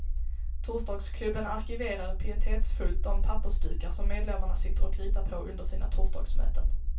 Torsdagsklubben arkiverar pietetsfullt de pappersdukar som medlemmarna sitter och ritar på under sina torsdagsmöten.